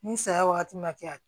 Ni saya wagati ma kɛ